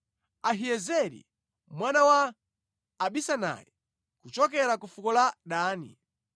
Ahiyezeri mwana wa Amisadai, kuchokera ku fuko la Dani,